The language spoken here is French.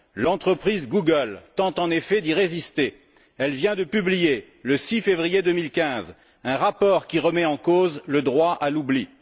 L'entreprise Google tente en effet d'y résister elle vient de publier, le 6 février 2015, un rapport qui remet en cause le droit à l'oubli.